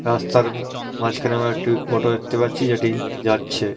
রাস্তার ম মাঝখানে আমরা একটি অটো দেখতে পাচ্ছি যেটি যাচ্ছে।